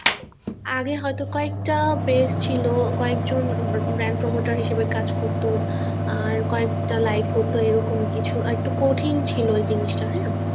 আগে হয়তো কয়েকটা page ছিল কয়েকজন bank promoter হিসেবে কাজ করত অ্যাঁ কয়েকটা live হত এরকম কিছু আরেকটু কঠিন ছিল এ জিনিস টা হ্যাঁ